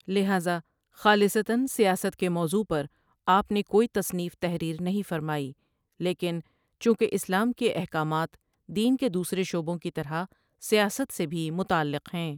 لہذا خالصتآً سیاست کے موضوع پر آپ نے کوئی تصنیف تحریر نہیں فرمائی لیکن چونکہ اسلام کے احکامات دین کے دوسرے شعبوں کی طرح سیاست سے بھی متعلق ہیں ۔